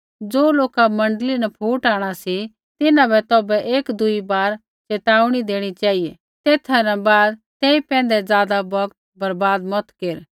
ज़ो लोका मण्डली न फूट आंणा सी तिन्हां बै तौभै एक दुई बार चेताऊणी देणी चेहिऐ तेथा न बाद तेई पैंधै ज़ादा बौगत बर्वाद मत केर